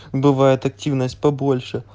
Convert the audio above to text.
бывает активность побольше